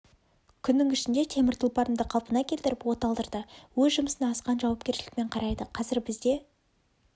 күннің ішінде темір тұлпарымды қалпына келтіріп от алдырды өз жұмысына асқан жауапкершілікпен қарайды қазір бізде